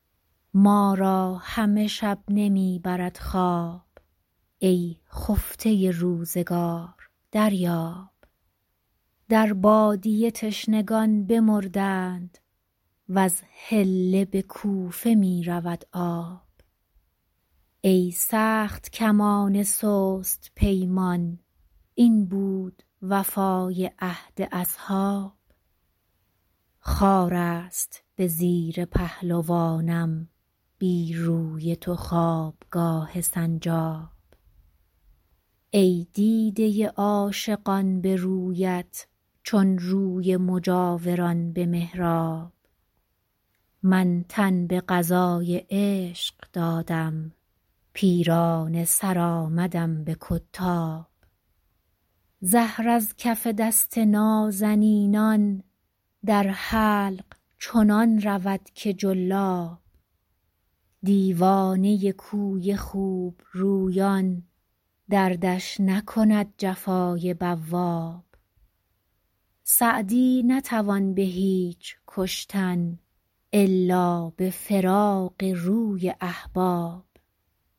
ما را همه شب نمی برد خواب ای خفته روزگار دریاب در بادیه تشنگان بمردند وز حله به کوفه می رود آب ای سخت کمان سست پیمان این بود وفای عهد اصحاب خار است به زیر پهلوانم بی روی تو خوابگاه سنجاب ای دیده عاشقان به رویت چون روی مجاوران به محراب من تن به قضای عشق دادم پیرانه سر آمدم به کتاب زهر از کف دست نازنینان در حلق چنان رود که جلاب دیوانه کوی خوبرویان دردش نکند جفای بواب سعدی نتوان به هیچ کشتن الا به فراق روی احباب